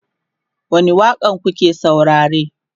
wani waƙa n kuke saurare?